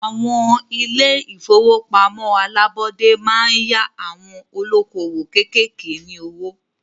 Àwọn ilé ìfọwọ́pamo alábọ́dé máa ń yá àwon olókoòwò kékèké ní owó.